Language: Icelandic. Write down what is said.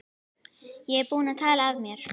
Ég er búinn að tala af mér.